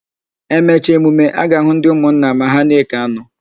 E mecha emume, a ga-àhụ́ ndị ụmụnna ma ha na-ékè anụ.